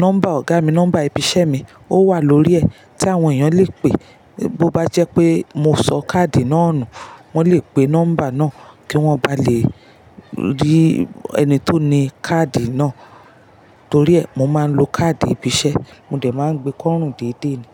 nọ́mbà Ọ̀gá mi, nọ́mbà ibi iṣẹ́ mi ó wà lórí ẹ̀ tí àwọn èèyàn le pè. Bo bá jẹ́ pé mo sọ káàdì náà nù wọ́n le pe nọ́mbà náà kí wọ́n bá lè rí ẹni tó ni káàdì náà. Torí ẹ, mo máa ń lo káàdì ibi iṣẹ́, mo dẹ̀ máa gbé kọ́rùn dédé ni.